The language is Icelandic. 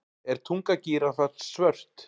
Er tunga gíraffans svört?